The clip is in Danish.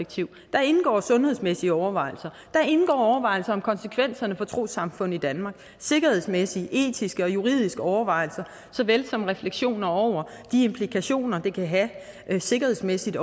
indgår sundhedsmæssige overvejelser overvejelser om konsekvenserne for trossamfund i danmark sikkerhedsmæssige etiske og juridiske overvejelser såvel som refleksioner over de implikationer det kan have sikkerhedsmæssigt